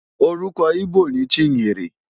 Orúkọ íbò ni Chinyere.